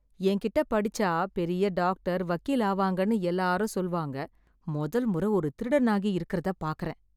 என்கிட்டே படிச்சா பெரிய டாக்டர், வக்கீல் ஆவாங்கன்னு எல்லாரும் சொல்வாங்க. மொதல் மொற ஒரு திருடனாகி இருக்கறதப் பாக்கறேன்.